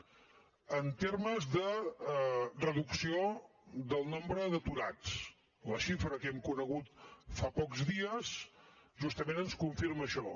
en termes de reducció del nombre d’aturats la xifra que hem conegut fa pocs dies justament ens confirma això